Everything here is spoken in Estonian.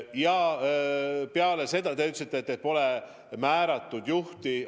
Ja peale selle te ütlesite, et pole määratud juhti.